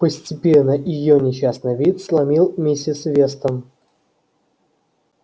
постепенно её несчастный вид сломил миссис вестон